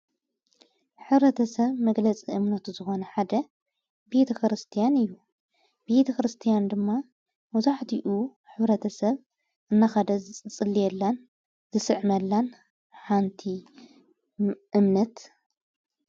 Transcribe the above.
ኅረተ ሰብ መግለጽ እምነቱ ዝኾነ ሓደ ቢቲ ክርስቲያን እዩ ብቲ ክርስቲያን ድማ ወዙኅድኡ ኅረተ ሰብ እናኸደ ዝጽልየላን ዝስዕ መላን ሓንቲ እምነት